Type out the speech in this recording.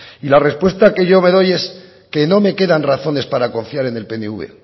y la respuesta que yo me doy es que no me quedan razones para confiar en el pnv